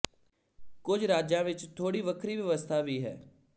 ਕੁਝ ਰਾਜਾਂ ਵਿੱਚ ਥੋੜ੍ਹੀ ਵੱਖਰੀ ਵਿਵਸਥਾ ਵੀ ਹੈ